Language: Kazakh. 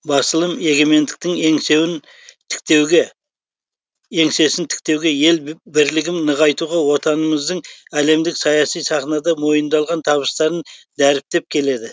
басылым егемендіктің еңсесін тіктеуге ел бірлігін нығайтуға отанымыздың әлемдік саяси сахнада мойындалған табыстарын дәріптеп келеді